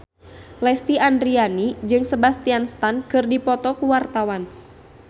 Lesti Andryani jeung Sebastian Stan keur dipoto ku wartawan